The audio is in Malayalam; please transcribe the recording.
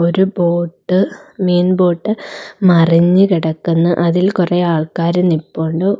ഒരു ബോട്ട് മീൻ ബോട്ട് മറിഞ്ഞു കിടക്കുന്നു അതിൽ കുറെ ആൾക്കാരും നിപ്പോണ്ട്‌ ഒ--